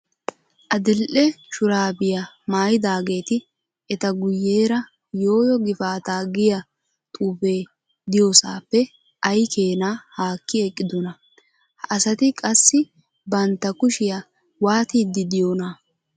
Adil"e shuraabiya maayidaageeti eta guyyeera "yoo yoo gifaataa" giyaa xuufee diyoosaappe ay keenaa haaki eqqidonaa? Ha asati qassi bantta kushiya waatiiddi diyoonaa?